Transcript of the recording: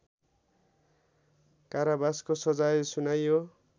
कारावासको सजाय सुनाइयो